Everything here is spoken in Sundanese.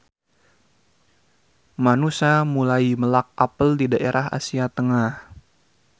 Manusa mulai melak apel di daerah Asia Tengah.